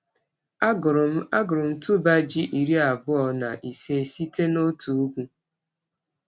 Agụrụ m Agụrụ m tuber ji iri abụọ na ise site n’otu ugwu.